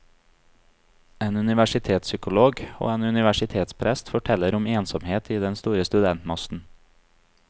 En universitetspsykolog og en universitetsprest forteller om ensomhet i den store studentmassen.